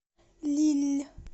лилль